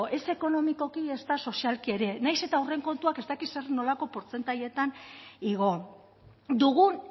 ez ekonomikoki ezta sozialki ere nahiz eta horren kontuak ez dakit zer nolako portzentaietan igo dugun